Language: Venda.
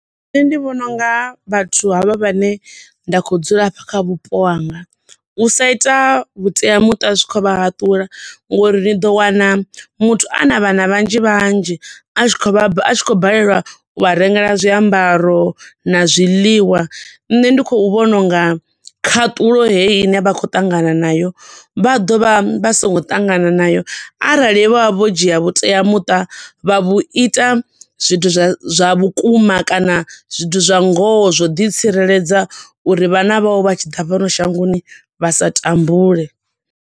Nṋe ndi vhona unga vhathu ha vha vha ne nda khou dzula hafha kha vhupo hanga. U sa ita vhuteamuṱa zwi khou vha haṱula ngo uri ndi ḓo wana muthu ana vhana vhanzhi vhanzhi a tshi khou, a tshi khou baleliwa u vha rengela zwiambaro na zwiḽiwa, nṋe ndi khou vhona unga khaṱulo heyi ine vha khou ṱangana nayo vha ḓo vha vha songo ṱangana nayo arali vho vha vho dzhia vhuteamuṱa vha vhu ita zwithu zwa vhukuma kana zwithu zwa ngoho zwo u ḓi tsireledza uri vhana vhau vha tshi ḓa fhano shangoni vha sa tambule.